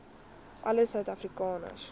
alle suid afrikaners